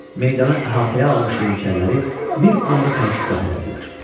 Meydanı əhatəyə almış yeniçəriləri bir anda tərki silah etdilər.